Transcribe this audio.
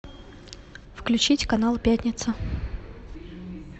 включить канал пятница